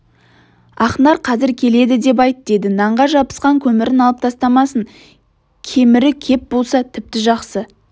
ақнар қазір келеді деп айт деді нанға жабысқан көмірін алып тастамасын кемірі кеп болса тіпті жақсы